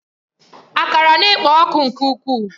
Akara na-ekpo ọkụ nke ukwuu.